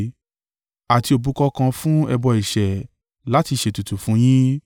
Àti òbúkọ kan fún ẹbọ ẹ̀ṣẹ̀ láti ṣètùtù fún yín.